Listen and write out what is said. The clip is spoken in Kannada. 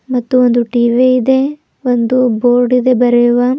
ಮತ್ತು ಒಂದು ಟಿ_ವಿ ಇದೆ ಒಂದು ಬೋರ್ಡ್ ಇದೆ ಬರೆಯುವ.